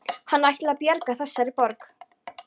Hann ætlaði að bjarga þessari borg